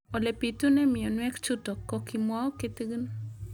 Ole pitune mionwek chutok ko kimwau kitig'�n